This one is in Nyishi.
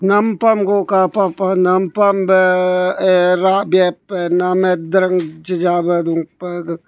nampam gu kapa pah nampam bah eh rabiya nam heh daran jeja ronpeh.